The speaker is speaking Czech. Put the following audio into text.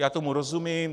Já tomu rozumím.